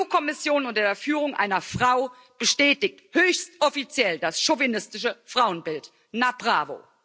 Die EU Kommission unter Führung einer Frau bestätigt höchst offiziell das chauvinistische Frauenbild na bravo!